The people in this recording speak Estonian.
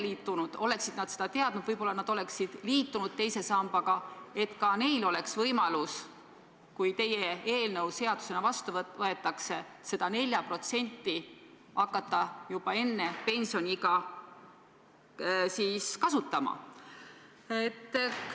Kui nad oleksid seda teadnud, võib-olla nad oleksid liitunud teise sambaga ja ka neil oleks võimalus, kui teie eelnõu seadusena vastu võetakse, seda 4% hakata juba enne pensioniiga kasutama.